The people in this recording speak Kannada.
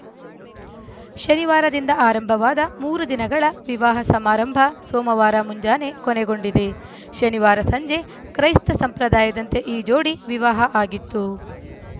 ಶನಿವಾರದಿಂದ ಆರಂಭವಾದ ಮೂರು ದಿನಗಳ ವಿವಾಹ ಸಮಾರಂಭ ಸೋಮವಾರ ಮುಂಜಾನೆ ಕೊನೆಗೊಂಡಿದೆ ಶನಿವಾರ ಸಂಜೆ ಕ್ರೈಸ್ತ ಸಂಪ್ರದಾಯದಂತೆ ಈ ಜೋಡಿ ವಿವಾಹ ಆಗಿತ್ತು